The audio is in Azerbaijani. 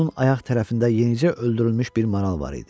Onun ayaq tərəfində yenicə öldürülmüş bir maral var idi.